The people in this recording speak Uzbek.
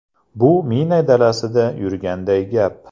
Bu mina dalasida yurganday gap.